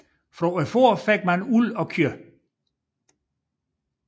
Fra fårene fik man uld og kød